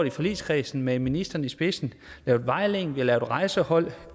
i forligskredsen med ministeren i spidsen lavet vejledning rejsehold og